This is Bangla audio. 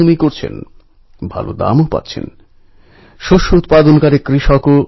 আমি অবশ্যই জনগণকে আপনাদের কথা জানাবো